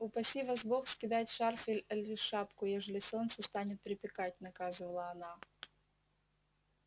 упаси вас бог скидать шарф али шляпу ежели солнце станет припекать наказывала она